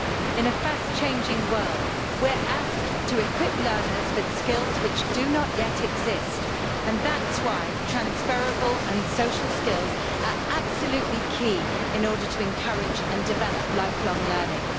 In a fast changing world we are asked to equip learners with skills which do not yet exist, and that's why transferable and social skills are absolutely key in order to encourage and develop lifelong learning.